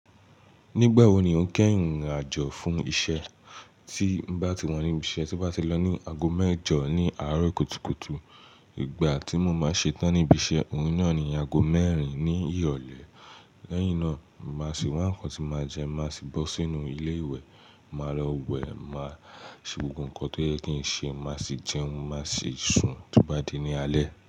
Nígbà wo ni o ń kẹ́yìn rìnrìn àjò fún iṣẹ́? Tí n bá ti wá níbi iṣẹ́, tí ń bá ti lọ ní ago mẹ́jọ ní àárọ̀ kùtùkùtù. Ìgbà tí mo máa ṣe tán níbi iṣẹ́, òun na ni ago mẹ́rin ní ìrọ̀lẹ́. Lẹ́yìn náà, màá sì wá nǹkan tí màá jẹ, màá sì bọ́ sínú ilé ìwẹ̀, màá lọ wẹ̀, màá ṣe gbogbo nǹkan tó yẹ kí n ṣe, màá sì jẹun, màá sì sùn tí ó bá di ní alẹ́.